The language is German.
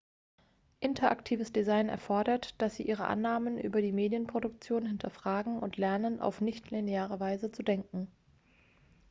interaktives design erfordert dass sie ihre annahmen über die medienproduktion hinterfragen und lernen auf nicht-lineare weise zu denken